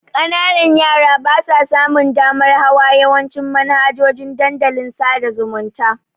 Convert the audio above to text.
Ƙananan yara basa samun damar hawa yawancin manhajojin dandalin sada zumunta.